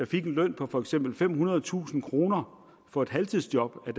fik en løn på for eksempel femhundredetusind kroner for et halvtidsjob det